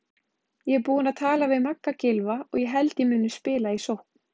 Ég er búinn að tala við Magga Gylfa og held ég muni spila í sókn.